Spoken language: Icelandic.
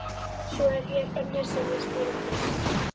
Svo er hér önnur sem ég skil ekkert í.